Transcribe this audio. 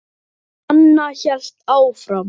Anna hélt áfram.